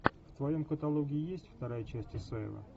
в твоем каталоге есть вторая часть исаева